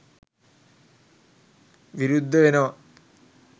විරුද්ධ වෙනවා